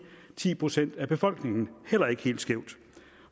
ti procent af befolkningen heller ikke helt skævt